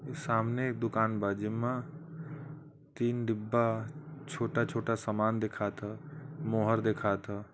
सामने एक दुकान बा जिम्मा तीन डिब्बा छोटा छोटा सामान देखात ह मोहर देखात ह।